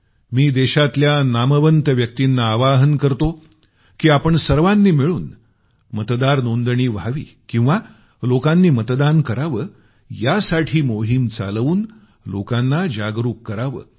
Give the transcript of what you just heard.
मी देशातल्या नामवंत व्यक्तीना आवाहन करतो की आपण सर्वांनी मिळून मतदार नोंदणी व्हावी किंवा लोकांनी मतदान करावं यासाठी मोहीम चालवून लोकांना जागरूक करावं